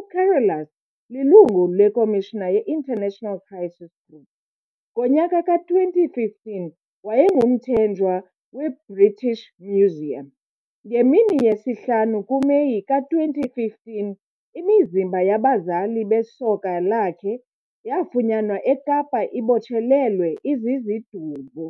UCarolus lilungu leKomishini yeInternational Crisis Group.Ngonyaka ka-2015 wayengumthenjwa weBritish Museum.Ngemini yesihlanu kuMeyi ka-2015 imizimba yabazali besoka lakhe yafunyanwa eKapa ibotshelelwe izizidumbu.